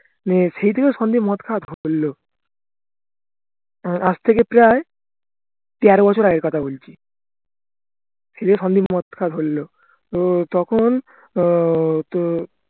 উম সেই থেকে সন্দীপ মদ খাওয়া ধরলো উম আজ থেকে প্রায় তেরো বছর আগের কথা বলছি সেই সন্দীপ মদ খাওয়া ধরলো উম তখন উম